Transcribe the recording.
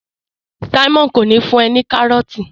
Simon kò ní fún e ní karọọti.